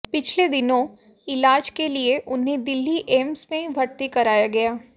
पिछले दिनों इलाज के लिए उन्हें दिल्ली एम्स में भर्ती कराया गया